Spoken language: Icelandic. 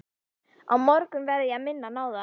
Á morgun verð ég að minna hann á það.